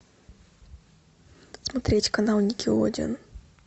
смотреть канал никелодеон